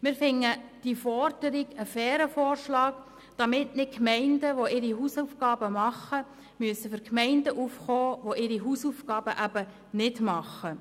Wir erachten die Forderung als einen fairen Vorschlag, damit Gemeinden, die ihre Hausaufgaben machen, nicht für Gemeinden aufkommen müssen, die dies nicht machen.